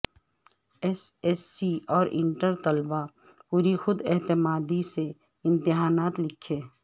S S C اور inter طلبہ پوری خود اعتمادی سے امتحانات لکھیں